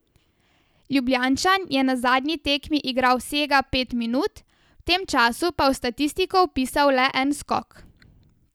Ljubljančan je na zadnji tekmi igral vsega pet minut, v tem času pa v statistiko vpisal le en skok.